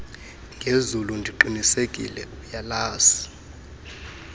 ngezulu ndiqinisekile uyalazi